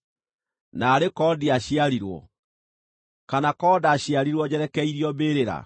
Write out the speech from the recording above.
Naarĩ korwo ndiaciarirwo, kana korwo ndaciarirwo njerekeirio mbĩrĩra!